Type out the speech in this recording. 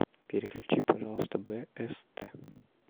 переключи пожалуйста бст